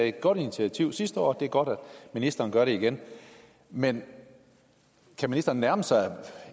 et godt initiativ sidste år og det er godt at ministeren gør det igen men kan ministeren nærme sig et